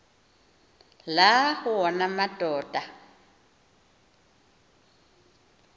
la wona amadoda